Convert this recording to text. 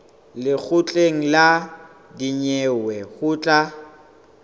lekgotleng la dinyewe ho tla